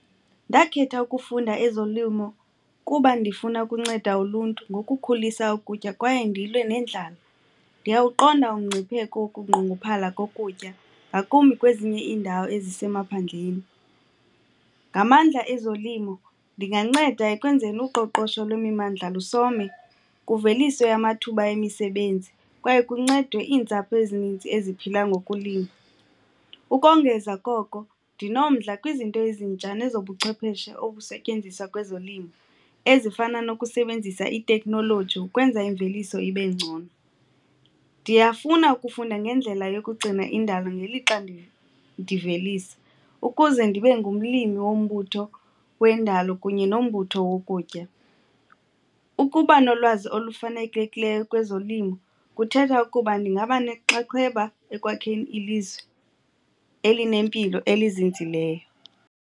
Ndakhetha ukufunda ezolimo kuba ndifuna ukunceda uluntu ngokukhulisa ukutya kwaye ndilwe nendlala. Ndiyawuqonda umngcipheko wokunqongophala kokutya ngakumbi kwezinye iindawo ezisemaphandleni. Ngamandla ezolimo ndinganceda ekwenzeni uqoqosho lwemimandla lusome kuveliswe amathuba emisebenzi kwaye kuncedwe iintsapho ezininzi eziphila ngokulima. Ukongeza koko ndinomdla kwizinto ezintsha nezobuchwepheshe obusetyenziswa kwezolimo ezifana nokusebenzisa itekhnoloji ukwenza imveliso ibe ngcono. Ndiyafuna ukufunda ngendlela yokugcina indalo ngelixa ndivelisa ukuze ndibe ngumlimi wombutho wendalo kunye nombutho wokutya. Ukuba nolwazi olufanelekileyo kwezolimo kuthetha ukuba ndingaba nenxaxheba ekwakheni ilizwe elinempilo elizinzileyo.